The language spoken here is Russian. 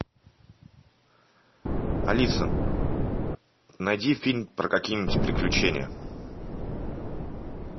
алиса найди фильм про какие нибудь приключения